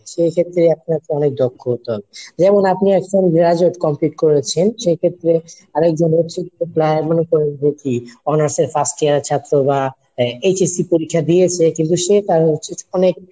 সেক্ষেত্রে আপনাকে অনেক দক্ষ হতে হবে। যেমন আপনি আসছেন Gradate complete করেছেন সেক্ষেত্রে আরেকজন মনে করেন যে কি অনার্স এর First year এর ছাত্র বা HSC পরীক্ষা দিয়েছে কিন্তু সে তার হচ্ছে যে অনেক